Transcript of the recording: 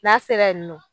N'a sera yen nɔ